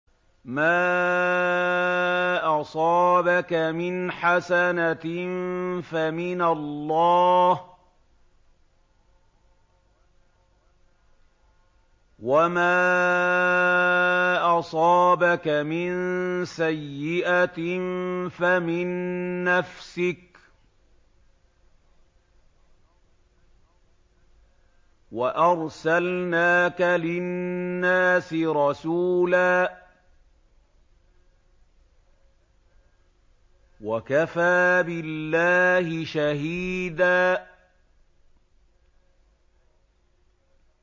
مَّا أَصَابَكَ مِنْ حَسَنَةٍ فَمِنَ اللَّهِ ۖ وَمَا أَصَابَكَ مِن سَيِّئَةٍ فَمِن نَّفْسِكَ ۚ وَأَرْسَلْنَاكَ لِلنَّاسِ رَسُولًا ۚ وَكَفَىٰ بِاللَّهِ شَهِيدًا